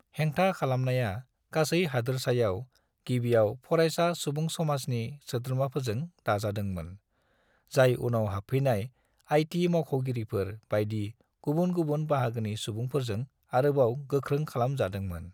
हेंथा खालामनाया गासै हादोरसायाव गिबियाव फरायसा सुबुंसमाजनि सोद्रोमाफोरजों दाजादोंमोन जाय उनाव हाबफैनाय आईटी मावख'गिरिफोर बायदि गुबुन गुबुन बाहागोनि सुबुंफोरजों आरोबाव गोख्रों खालाम जादोंमोन।